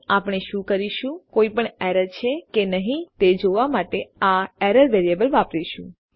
અને આપણે શું કરીશું કોઈપણ એરર છે કે નહી તે જોવા માટે આ એરર વેરિયેબલ વાપરીશું